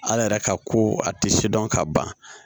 Ala yɛrɛ ka ko a tɛ sidɔn ka ban